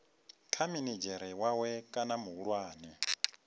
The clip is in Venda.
kha minidzhere wawe kana muhulwane